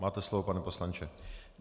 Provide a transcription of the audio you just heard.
Máte slovo, pane poslanče.